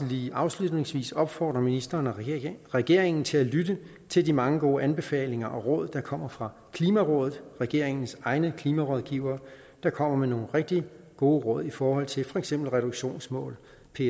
lige afslutningsvis opfordre ministeren og regeringen til at lytte til de mange gode anbefalinger og råd der kommer fra klimarådet regeringens egne klimarådgivere der kommer med nogle rigtig gode råd i forhold til for eksempel reduktionsmål